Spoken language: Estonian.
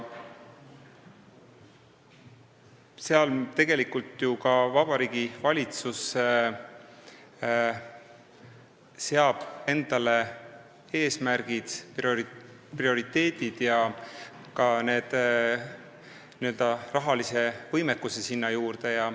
Seal tegelikult seab Vabariigi Valitsus paika eesmärgid, prioriteedid ja ka n-ö rahalise võimekuse.